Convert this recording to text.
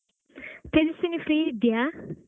Tejaswini free ಇದ್ಯಾ?